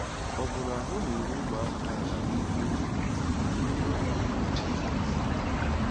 Ọbụna ahụ́ na-eru ụmụaka ala n'ihu um Jizọs.